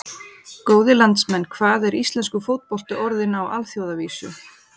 Góðir landsmenn, hvað er íslenskur fótbolti orðinn á alþjóðavísu?